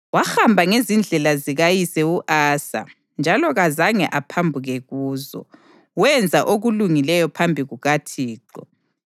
Wahamba ngezindlela zikayise u-Asa njalo kazange aphambuke kuzo; wenza okulungileyo phambi kukaThixo.